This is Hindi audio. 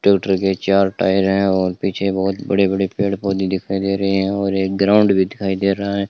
ट्यूटर के चार टायर हैं और पीछे बहुत बड़े बड़े पेड़ पोधै दिखाई दे रहे हैं और एक ग्राउंड भी दिखाई दे रहा है।